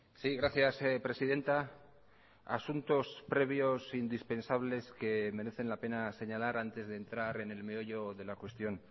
sí gracias presidenta asuntos previos indispensables que merecen la pena señalar antes de entrar en el meollo de la cuestión